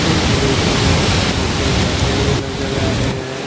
इस दृश्य में मशीन रखे हुए नजर आ रहे है।